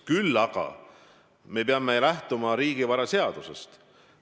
Küll aga me peame lähtuma riigivaraseadusest.